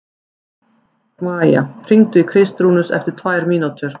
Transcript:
Maía, hringdu í Kristrúnus eftir tvær mínútur.